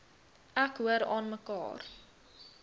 ek hoor aanmekaar